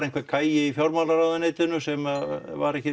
einhvern gæja í fjármálaráðuneytinu sem var ekki